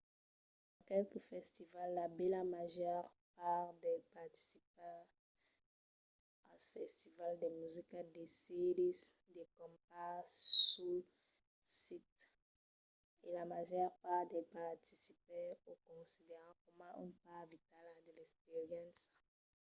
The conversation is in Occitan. dins qualques festivals la bèla màger part dels participaires als festivals de musica decidís de campar sul sit e la màger part dels participaires o consideran coma una part vitala de l’experiéncia